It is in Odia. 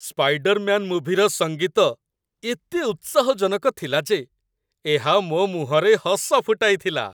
ସ୍ପାଇଡର୍ମ୍ୟାନ୍ ମୁଭିର ସଙ୍ଗୀତ ଏତେ ଉତ୍ସାହଜନକ ଥିଲା ଯେ ଏହା ମୋ ମୁହଁରେ ହସ ଫୁଟାଇଥିଲା